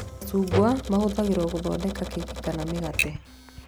Macungwa mahũthagĩrwo gũthondeka keki kana mĩgate